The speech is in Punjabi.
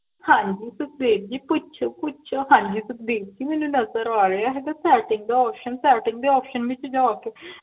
ਹਾਂਜੀ ਤੁਸੀਂ ਸੁਖਦੇਵ ਜੀ ਕੁਛ ਕੁਛ ਹਾਂਜੀ ਸੁਖਦੇਵ ਜੀ ਮੈਨੂ ਨਜ਼ਰ ਆਰੇਹਾ ਹੈ Setting ਦਾ option Setting option ਵਿੱਚ ਜਾ ਕੇ